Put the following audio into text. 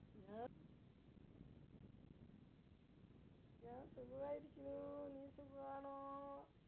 ഞാ സുഖമായിരിക്കുന്നു നീ സുഖമാണോ